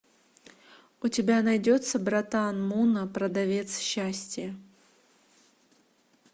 у тебя найдется братан мунна продавец счастья